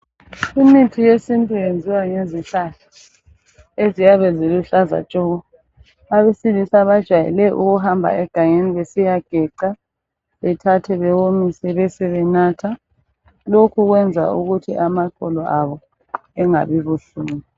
Imithi yesintu iyenziwa ngezihlahla eziyabe ziluhlaza tshoko. Abesilisa bajwayele ukuhamba egangeni besiyageca, bethathe bewomise besebenatha, lokhu kwenza ukuthi amaqolo abo engabi buhlungu.